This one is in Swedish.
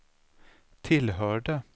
tillhörde